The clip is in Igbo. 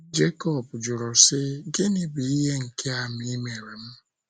Jekọb jụrụ si: Gịnị bụ ihe nke a ịmere m?